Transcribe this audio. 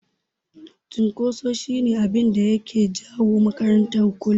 Cunkoso shi ne abinda yake jawo makarata kullum.